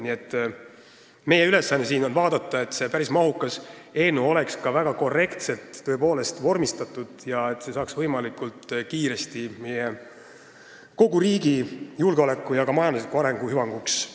Nii et meie ülesanne on vaadata, et see päris mahukas eelnõu oleks tõepoolest ka väga korrektselt vormistatud ja saaks võimalikult kiiresti vastu võetud, sest see on kogu riigi julgeoleku ja ka majandusliku arengu hüvanguks.